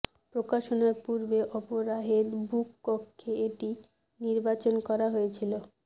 প্রকাশনার পূর্বে অপরাহের বুক কক্ষে এটি নির্বাচন করা হয়েছিল